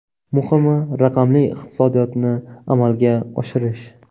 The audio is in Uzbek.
Muhimi, raqamli iqtisodiyotni amalga oshirish.